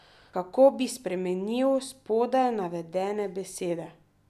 Kako bi spremenil spodaj navedene besede?